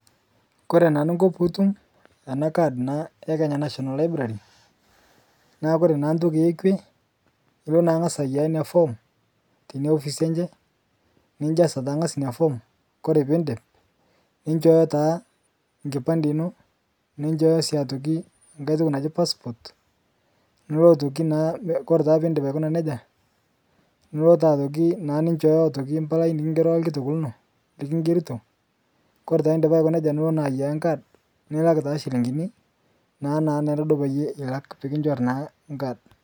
Kore naa Ninkoo piitum ana card ee Kenya National] library naa Kore naa ntoki ekwee ilo naa ngaz aiyaa inia form teinia ofice enchee, ninjaza taa ng'az inia form Kore piindip ninshooyo taa nkipande inoo ninshooyo sii ng'hai toki najii passport, nilo naa otoki naa Kore piindip aikuna neja nilo aishooyo mpalai nikingeroka lkitok lino likingeritoo Kore naa indipaa Aiko nejaa nilo naa aiyaa nkaad nilak taa shilimgini, naanere naaduo piilak pikinchori naa nkaad.